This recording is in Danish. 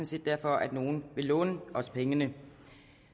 set derfor at nogle vil låne os pengene